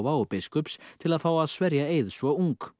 og biskups til að fá að sverja eið svo ung